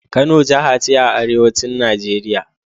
Kano jaha ce a arewacin Najeriya.